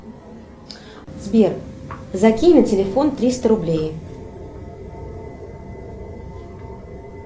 сбер закинь на телефон триста рублей